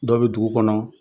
Dɔ bɛ dugu kɔnɔ